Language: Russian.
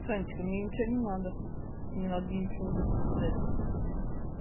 санечка мне ничего не надо не надо ничего в личку кидать